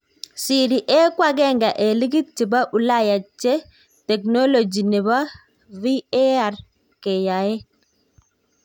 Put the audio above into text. Serie A ko agenge en ligit chepo ulaya che teknoligy chepo VAR keyaen.